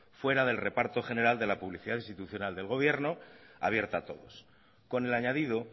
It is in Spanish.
fuera del reparto general de la publicidad institucional del gobierno abierta a todos con el añadido